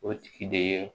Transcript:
O tigi de ye